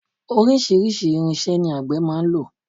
Oríṣiríṣi irinṣẹ́ ni àgbè máa ń lò.